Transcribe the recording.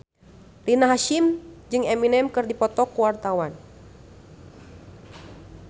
Rina Hasyim jeung Eminem keur dipoto ku wartawan